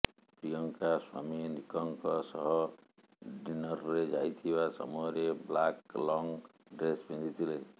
ପ୍ରିୟଙ୍କା ସ୍ୱାମୀ ନିକ୍ଙ୍କ ସହ ଡିନର୍ରେ ଯାଇଥିବା ସମୟରେ ବ୍ଲାକ ଲଙ୍ଗ୍ ଡ୍ରେସ୍ ପିନ୍ଧିଥିଲେ